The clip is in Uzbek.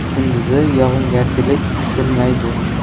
kunduzi yog‘ingarchilik kutilmaydi.